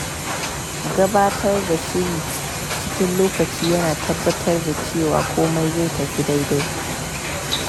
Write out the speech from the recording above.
Gabatar da shiri cikin lokaci yana tabbatar da cewa komai zai tafi daidai.